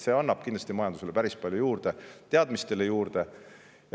See annab kindlasti majandusele päris palju juurde ja annab ka teadmistele juurde.